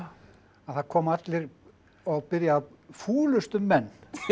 að það koma allir og byrja fúlustu menn